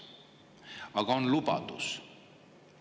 Aga on lubadus.